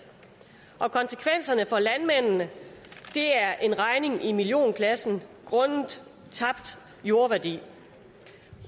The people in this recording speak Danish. og konsekvenserne for landmændene er en regning i millionklassen grundet tabt jordværdi